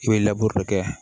I bɛ kɛ